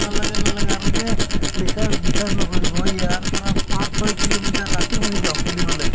নালাগে নালাগে আৰু যে বিশ্বাস বিশ্বাস নকৰিব ইয়াৰ পৰা পাঁচ ছয় kilometer ৰাতি শুই যাওঁ খেলিবলে